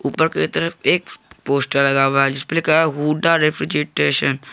ऊपर की तरफ एक पोस्टर लगा हुआ है जिस पे लिखा है हुडा रेफ्रिजेटशन ।